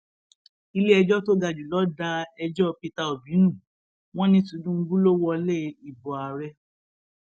iléẹjọ tó ga jù lọ da ẹjọ peter obi nù wọn ní tinubu ló wọlé ìbò ààrẹ